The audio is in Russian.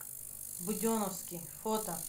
буденовский фото